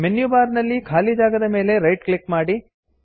menu bar ನ ಖಾಲಿ ಜಾಗದ ಮೇಲೆ ರೈಟ್ ಕ್ಲಿಕ್ ಮಾಡಿ